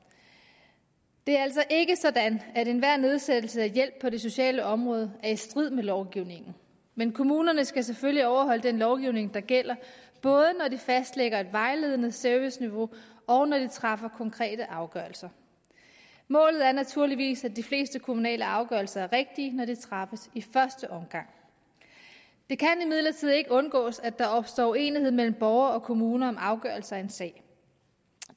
det er altså ikke sådan at enhver nedsættelse af hjælp på det sociale område er i strid med lovgivningen men kommunerne skal selvfølgelig overholde den lovgivning der gælder både når de fastlægger et vejledende serviceniveau og når de træffer konkrete afgørelser målet er naturligvis at de fleste kommunale afgørelser er rigtige når de træffes i første omgang det kan imidlertid ikke undgås at der opstår uenighed mellem borgere og kommuner om afgørelse af en sag